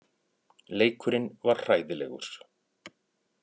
Leikurinn var hræðilegur.